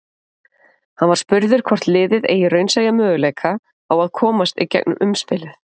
Hann var spurður hvort liðið eigi raunsæja möguleika á að komast í gegnum umspilið?